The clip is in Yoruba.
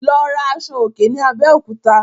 Lọ rà Aṣọ òkè ni Abéòkúta